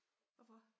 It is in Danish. Hvorfor?